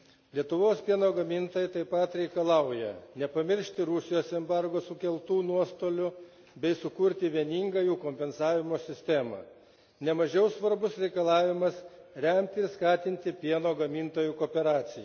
Lietuvos pieno gamintojai taip pat reikalauja nepamiršti Rusijos embargo sukeltų nuostolių bei sukurti vieningą jų kompensavimo sistemą. Ne mažiau svarbus reikalavimas remti, skatinti pieno gamintojų kooperaciją.